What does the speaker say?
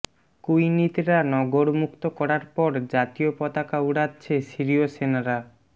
Quneitra নগর মুক্ত করার পর জাতীয় পতাকা উড়াচ্ছে সিরিয় সেনারা